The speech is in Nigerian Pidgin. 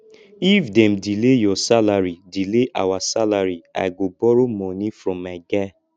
if dem delay our salary delay our salary i go borrow moni from my guy